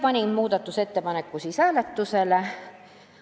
Panin muudatusettepaneku hääletusele.